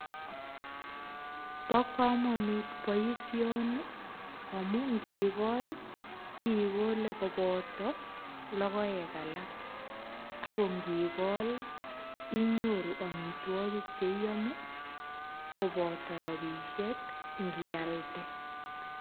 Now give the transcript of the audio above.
Bo kamanut boisioni amu ngigol ii igole kopoto logoek alak ago ngigol ii inyoru amitwogik che iyome kopoto rapisiek ii ngialde